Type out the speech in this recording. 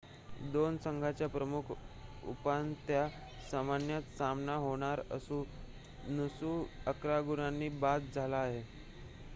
2 संघांचा प्रमुख उपांत्य सामन्यात सामना होणार असून नुसा 11 गुणांनी बाद झाला आहे